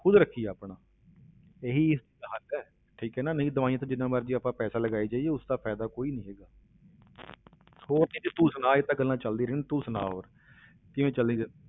ਖੁੱਦ ਰੱਖੀਏ ਆਪਣਾ, ਇਹੀ ਇਸਦਾ ਹੱਲ ਹੈ, ਠੀਕ ਹੈ ਨਾ ਨਹੀਂ ਦਵਾਈਆਂ ਤੇ ਜਿੰਨਾ ਮਰਜ਼ੀ ਆਪਾਂ ਪੈਸਾ ਲਗਾਈ ਜਾਈਏ, ਉਸਦਾ ਫ਼ਾਇਦਾ ਕੋਈ ਨੀ ਹੈਗਾ ਹੋਰ ਨਿੱਧੀ ਤੂੰ ਸੁਣਾ ਇਹ ਤਾਂ ਗੱਲਾਂ ਚੱਲਦੀਆਂ ਰਹਿਣੀਆਂ, ਤੂੰ ਸੁਣਾ ਹੋਰ ਕਿਵੇਂ ਚੱਲਦੀ ਫਿਰ